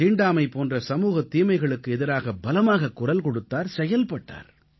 தீண்டாமை போன்ற சமூகத் தீமைகளுக்கு எதிராக பலமாகக் குரல் கொடுத்தார் செயல்பட்டார்